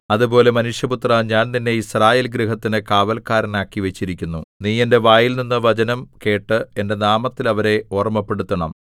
അതുപോലെ മനുഷ്യപുത്രാ ഞാൻ നിന്നെ യിസ്രായേൽ ഗൃഹത്തിനു കാവല്ക്കാരനാക്കി വച്ചിരിക്കുന്നു നീ എന്റെ വായിൽനിന്നു വചനം കേട്ട് എന്റെ നാമത്തിൽ അവരെ ഓർമ്മപ്പെടുത്തണം